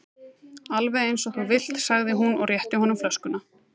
Alveg eins og þú vilt sagði hún og rétti honum flöskuna.